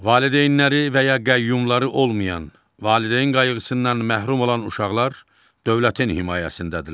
Valideynləri və ya qəyyumları olmayan, valideyn qayğısından məhrum olan uşaqlar dövlətin himayəsindədirlər.